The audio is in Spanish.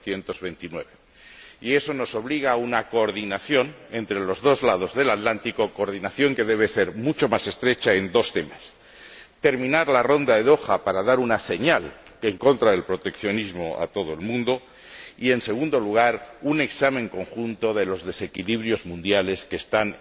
1929. Y eso nos obliga a una coordinación entre los dos lados del Atlántico, coordinación que debe ser mucho más estrecha en dos temas terminar la Ronda de Doha, para dar una señal en contra del proteccionismo a todo el mundo, y, en segundo lugar, un examen conjunto de los desequilibrios mundiales, que están